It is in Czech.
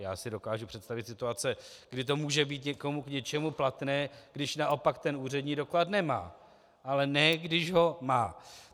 Já si dokážu představit situace, kdy to může být někomu k něčemu platné, když naopak ten úřední doklad nemá, ale ne když ho má.